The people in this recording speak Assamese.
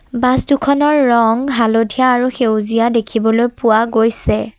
বাছ দুখনৰ ৰং হালধীয়া আৰু সেউজীয়া দেখিবলৈ পোৱা গৈছে।